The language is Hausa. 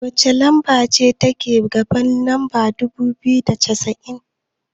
wacce lamba ce take gaban lamba dubu biyu da cassa'in?